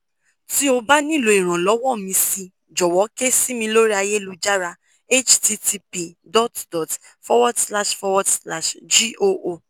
ti o ba nilo Ìrànlọ́wọ́ mi si jọ̀wọ́ ke si mi lori ayélujára http dot dot forward slash forward slash goo